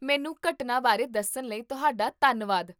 ਮੈਨੂੰ ਘਟਨਾ ਬਾਰੇ ਦੱਸਣ ਲਈ ਤੁਹਾਡਾ ਧੰਨਵਾਦ